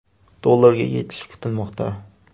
dollarga yetishi kutilmoqda.